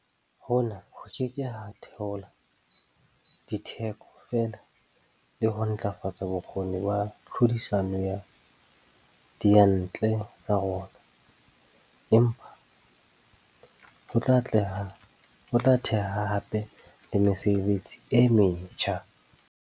Hona ho ke ke ha theola ditheko fela le ho ntlafatsa bokgoni ba tlhodisano ya diyantle tsa rona, empa ho tla theha hape le mesebetsi e metjha.